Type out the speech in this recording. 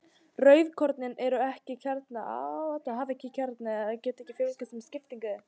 Rauðkornin hafa ekki kjarna og geta því ekki fjölgað sér með skiptingu.